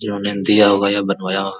जिन्होंने दिया होगा यह बनवाया --